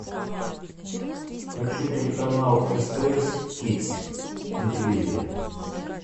хочу телеканал стс кидс на телевизоре